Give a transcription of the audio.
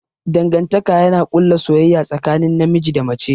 Dangantaka yana ƙulla soyayya tsakanin namiji da mace.